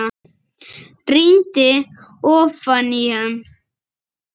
Rýndi ofan í hann.